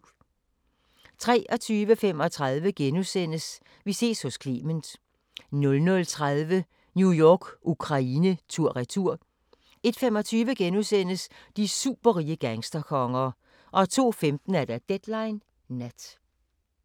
23:35: Vi ses hos Clement * 00:30: New York-Ukraine tur/retur 01:25: De superrige gangsterkonger * 02:15: Deadline Nat